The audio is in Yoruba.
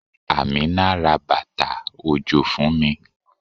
Amina ra bàtà òjò fún mi.